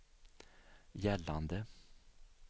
gällande